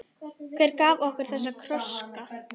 Hver gaf okkur þessa krossa?